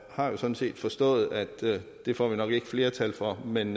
har jo sådan set forstået at det får vi nok ikke flertal for men